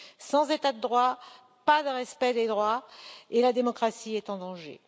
Sans état de droit, pas de respect des droits, et la démocratie est en danger.